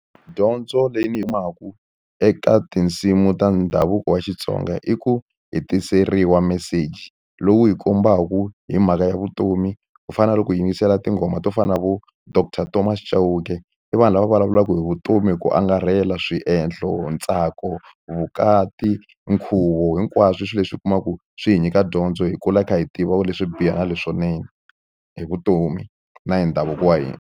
Dyondzo leyi ndzi yi eka tinsimu ta ndhavuko wa Xitsonga i ku hI tiseriwa meseji lowu hi kombaku hi mhaka ya vutomi ku fana na loko hi yingisela tinghoma to fana na vo doctor Tomas Chauke i vanhu lava vulavulaka hi vutomi hi ku angarhela swiendlo ntsako vukati nkhuvo hinkwaswo i swilo leswi u kumaka ku swi hi nyika dyondzo hi kula hi kha hi tiva leswo biha na leswinene hi vutomi na hi ndhavuko wa hina.